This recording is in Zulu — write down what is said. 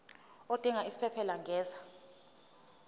odinga isiphesphelo angenza